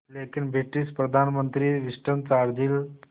लेकिन ब्रिटिश प्रधानमंत्री Winston Churchill